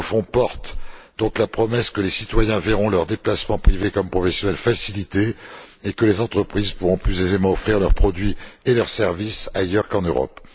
Ce nouveau fonds porte donc la promesse que les citoyens verront leurs déplacements privés comme professionnels facilités, et que les entreprises pourront plus aisément offrir leurs produits et leurs services ailleurs qu'en Europe.